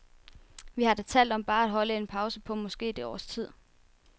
Vi har da talt om bare at holde en pause på måske et års tid.